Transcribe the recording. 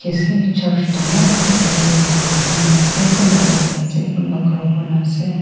church dangor ekta tae manu khan program loiase kunba boiase kunba kharakurinaase.